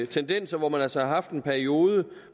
tendenser hvor man altså har haft en periode